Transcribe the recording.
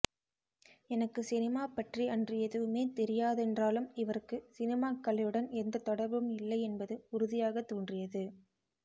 எனக்கு சினிமாபற்றி அன்று எதுவுமே தெரியாதென்றாலும் இவருக்கு சினிமாக்கலையுடன் எந்தத் தொடர்பும் இல்லை என்பது உறுதியாகத் தோன்றியது